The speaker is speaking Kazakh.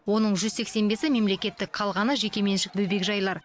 оның жүз сексен бесі мемлекеттік қалғаны жекеменшік бөбекжайлар